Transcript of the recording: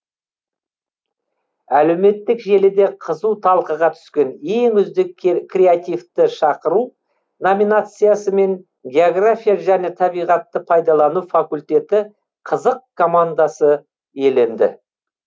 әлеуметтік желіде қызу талқыға түскен ең үздік креативті шақыру номинациясымен география және табиғатты пайдалану факультеті қызық командасы иеленді